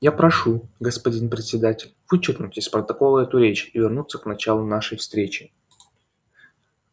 я прошу господин председатель вычеркнуть из протокола эту речь и вернуться к началу нашей встречи